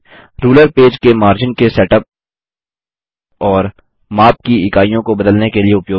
ruler page के margin हाशिया के सेटअप और माप की इकाइयों को बदलने के लिए उपयोगित है